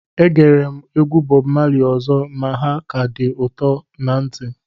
Egere m egwu Bọb Mali ọzọ ma ha ka dị ụtọ na ntị